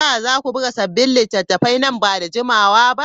Za ku buga sabbin littattafai nan ba da jimawa ba?